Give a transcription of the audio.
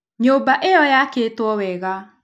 Nyũmba ĩyo yakĩtwo wega.